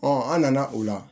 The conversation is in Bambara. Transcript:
an nana o la